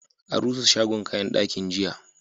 An rusa shagon kayan dakin, jiya.